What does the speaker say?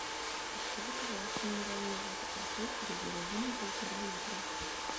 закажи пожалуйста минеральную воду архыз газированную полтора литра